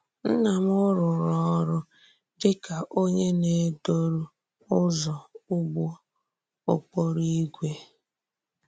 Nna m rùrù ọ̀rụ́ dì ka onye na-edòrù ụzọ̀ ùgbò òkpòrò ígwè.